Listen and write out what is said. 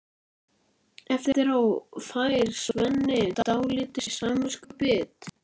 Eftir á fær Svenni dálítið samviskubit.